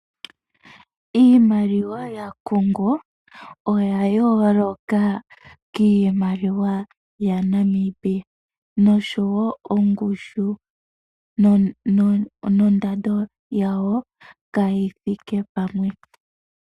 Iimaliwa yaCongo oya yooloka kiimaliwa yaNamibia noshowo ongushu nondando yawo, ka yithike pamwe.